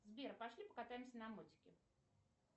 сбер пошли покатаемся на мотике